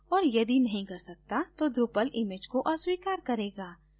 और यदि नहीं कर सकता तो drupal image को अस्वीकार करेगा